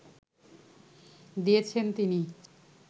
দিয়েছেন তিনি